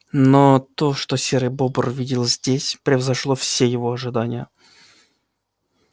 но то что серый бобр увидел здесь превзошло все его ожидания